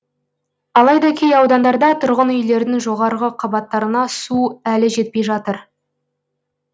алайда кей аудандарда тұрғын үйлердің жоғарғы қабаттарына су әлі жетпей жатыр